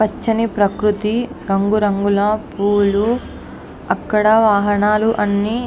పచ్చని ప్రకృతి రంగు రంగుల పూలు అక్కడ వాహనాలు అన్నీ --